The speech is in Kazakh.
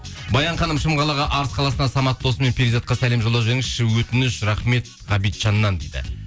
баян ханым шым қалаға арыс қаласына самат досым мен перизатқа сәлем жолдап жіберіңізші өтініш рахмет ғабитжаннан дейді